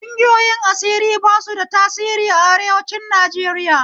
Ƙungiyoyin asiri ba su da tasiri a arewancin Najeriya